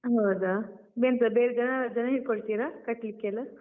ಹೌದ? ಎಂತ ಬೇರೆ ಜನಾ ಜನ ಹಿಟ್ಕೋಳ್ತೀರ? ಕಟ್ಲಿಕ್ಕೆಲ್ಲ?